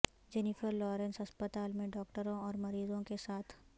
Jennifer Lawrence ہسپتال میں ڈاکٹروں اور مریضوں کے ساتھ